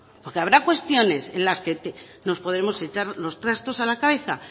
porque habrá cuestiones en las que nos podremos echar los trastos a la cabeza